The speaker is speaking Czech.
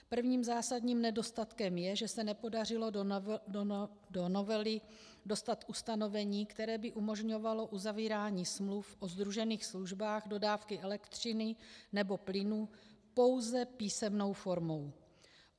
Prvním zásadním nedostatkem je, že se nepodařilo do novely dostat ustanovení, které by umožňovalo uzavírání smluv o sdružených službách dodávky elektřiny nebo plynu pouze písemnou formou.